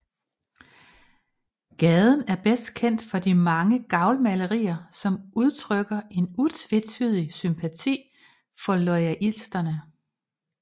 Gaden er bedst kendt for de mange gavlmalerier som udtrykker en utvetydig sympati for loyalisterne